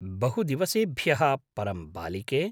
बहुदिवसेभ्यः परं बालिके!